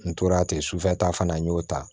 N tora ten sufɛta fana n y'o ta